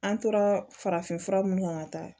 An tora farafin fura mun kan ka taa